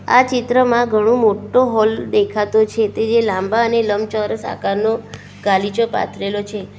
આ ચિત્રમાં ઘણું મોટો હોલ દેખાતું છે તે જે લાંબા અને લંબચોરસ આકારનો ગાલીચો પાથરેલો છે.